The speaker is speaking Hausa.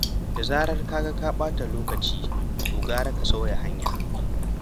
Da zarar ka ga za ka ɓata lokaci to gara ka sauya hanya.